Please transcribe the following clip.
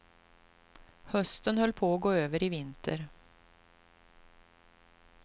Hösten höll på att gå över i vinter.